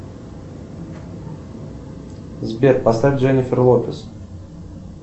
сбер поставь дженнифер лопес